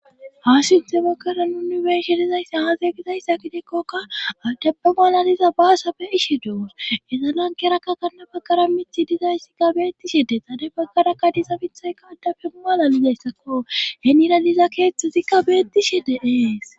ha sintemekara nunu beishe dizayssi haazegizayssa gidekkokka adapba malaliza baasa be7ishe dewus ezalankerakka kanna baggara mithi dizayssi ga beettishe de tade baggarakka diza mithayka addafe umalalidayssakko henira liza keeththozikka beetti she de ees